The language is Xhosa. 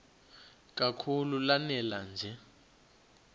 kakhulu lanela nje